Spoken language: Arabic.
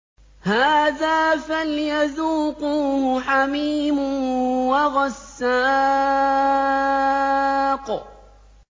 هَٰذَا فَلْيَذُوقُوهُ حَمِيمٌ وَغَسَّاقٌ